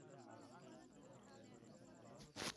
Xaaladaha qaarkood qaliin ayaa lagu sameeyaa.